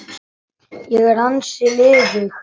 Ég er ansi liðug!